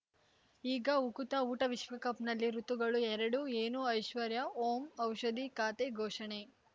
ಈಗ ಉಕುತ ಊಟ ವಿಶ್ವಕಪ್‌ನಲ್ಲಿ ಋತುಗಳು ಎರಡು ಏನು ಐಶ್ವರ್ಯಾ ಓಂ ಔಷಧಿ ಖಾತೆ ಘೋಷಣೆ